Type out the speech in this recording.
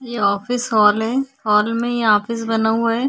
ये office hall है hall में ये ऑफिस बना हुआ है।